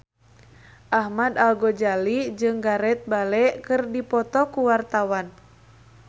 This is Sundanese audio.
Ahmad Al-Ghazali jeung Gareth Bale keur dipoto ku wartawan